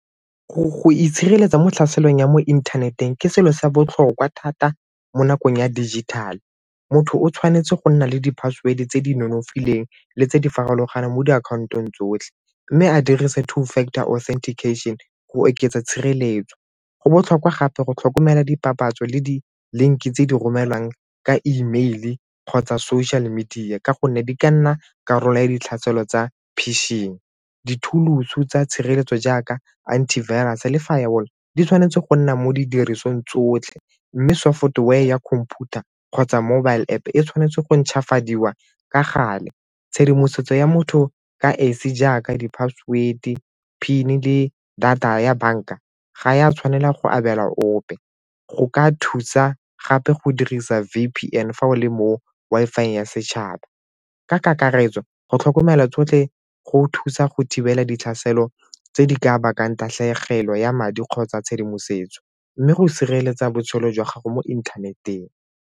Go itshireletsa mo tlhaselong ya mo inthaneteng ke selo sa botlhokwa thata mo nakong ya dijithale. Motho o tshwanetse go nna le di-password-e tse di nonofileng le tse di farologaneng mo diakhantong tsotlhe mme a dirise two-factor authentication go oketsa tshireletso. Go botlhokwa gape go tlhokomela dipapatso le di-link-e tse di romelwang ka email-e kgotsa social media ka gonne di ka nna karolo ya ditlhaelo tsa pishing. Dithuloso tsa tshireletso jaaka anti-virus le firewall di tshwanetse go nna mo didirisweng tsotlhe mme software ya computer kgotsa mobile App e tshwanetse go ntšhwafadiwa ka gale. Tshedimosetso ya motho ka esi jaaka di-password-e, PIN-e le data ya banka ga ya tshwanela go abela ope. Go ka thusa gape go dirisa V_P_N fa o le mo Wi-Fi ya setšhaba. Ka kakaretso, go tlhokomela tshotlhe go thusa go thibela di tlhaselo tse di ka bakang tatlhegelo ya madi kgotsa tshedimosetso mme go sireletsa botshelo jwa gago mo inthaneteng.